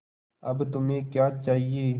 अब तुम्हें क्या चाहिए